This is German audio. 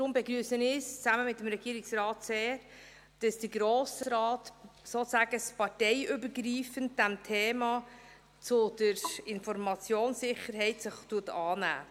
Darum begrüsse ich es zusammen mit dem Regierungsrat sehr, dass der Grosse Rat sich – sozusagen parteiübergreifend – dem Thema der Informationssicherheit annimmt.